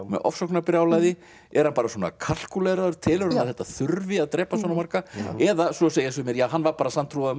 með ofsóknarbrjálæði er hann bara svona telur hann að þetta þurfi að drepa svona marga eða svo segja sumir hann var bara sanntrúaður